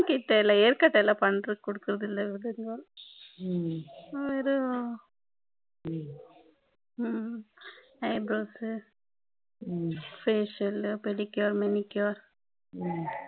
eyebrows facial pedicure manicure